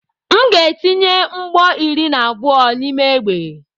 M ga-etinye mgbọ iri na abụọ n'ime egbe.